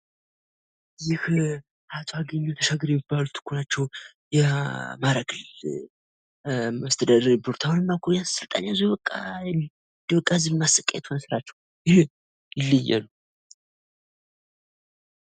ይህ አቶ አገኘሁ ተሻገር የሚባሉት እኮ ናቸው! የአማራ ክልል መስተዳድር የነበሩት አሁንማ እኮ ስልጣን ያዙ በቃ ህዝብ ማሰቃየት ሆነ ስራቸው። ኧረ ይለያሉ።